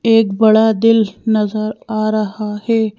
एक बड़ा दिल नजर आ रहा है।